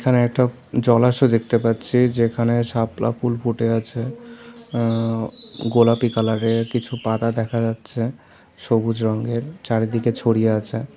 এখানে একটা জলাশয় দেখতে পাচ্ছি যেখানে শাপলা ফুল ফুটে আছে এ্যা গোলাপি কালার -এর কিছু পাতা দেখা যাচ্ছে সবুজ রঙের চারিদিকে ছড়িয়ে আছে।